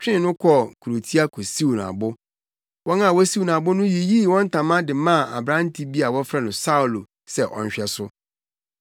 twee no kɔɔ kurotia kosiw no abo. Wɔn a wosiw no abo no yiyii wɔn ntama de maa aberante bi a wɔfrɛ no Saulo sɛ ɔnhwɛ so.